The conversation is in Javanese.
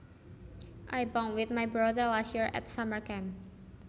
I bunked with my brother last year at summer camp